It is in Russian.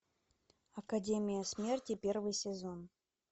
академия смерти первый сезон